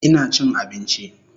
Ina chin abinchi